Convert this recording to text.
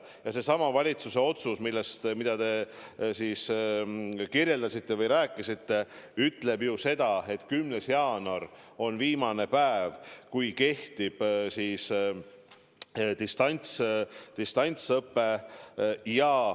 Ja seesama valitsuse otsus, millest te rääkisite, ütleb ju seda, et 10. jaanuar on viimane päev, kui kehtib distantsõpe.